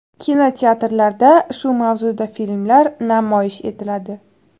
Kinoteatrlarda shu mavzuda filmlar namoyish etiladi.